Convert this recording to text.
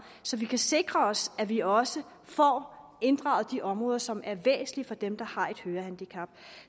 så vi kan sikre os at vi også får inddraget de områder som er væsentlige for dem der har et hørehandicap